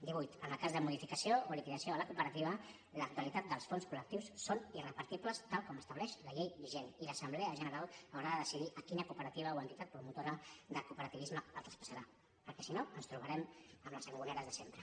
divuit en el cas de modificació o liquidació de la cooperativa l’actualitat dels fons col·lectius són irrepartibles tal com estableix la llei vigent i l’assemblea general haurà de decidir a quina cooperativa o entitat promotora del cooperativisme els traspassarà perquè si no ens trobarem amb les sangoneres de sempre